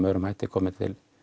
öðrum hætti komið